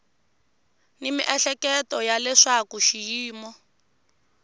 ni miehleketo ya leswaku xiyimo